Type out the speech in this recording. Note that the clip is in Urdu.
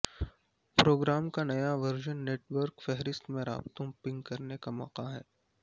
پروگرام کا نیا ورژن نیٹ ورک فہرست میں رابطوں پنگ کرنے کا موقع ہے